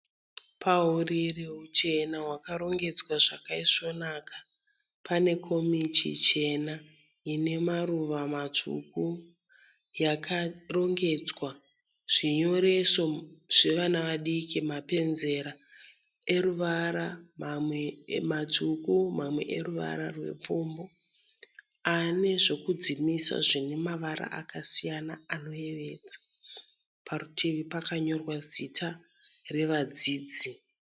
Pauriri huchena hwakarongedzwa zvakayisvonaka pane komichi chena ine maruva matsvuku yakarongedzwa zvevana vadiki mapenzera eruvara mamwe matsvuku mamwe eruvara rwepfumbu. Ane zvokudzimisa zvine mavara akasiyana siyana anoyevedza. Parutivi pakanyorwa zita revadzidzi.